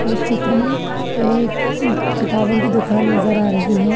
इस चित्र में एक किताबों की दुकान नजर आ रही है।